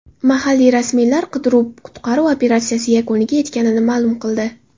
Mahalliy rasmiylar qidiruv-qutqaruv operatsiyasi yakuniga yetganini ma’lum qildi.